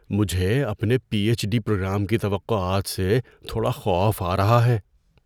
مجھے اپنے P H D programme کی توقعات سے تھوڑا خوف آ رہا ہے۔